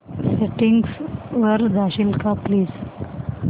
settings वर जाशील का प्लीज